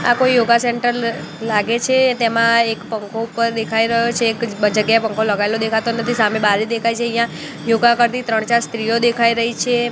આ કોઈ yoga centre લાગે છે તેમા એક પંખો ઉપર દેખાય રહ્યો છે એક બ જગ્યાએ પંખો લગાયેલો દેખાતો નથી સામે બારી દેખાય છે અહીંયા યોગા કરતી ત્રણ ચાર સ્ત્રીઓ દેખાય રહી છે.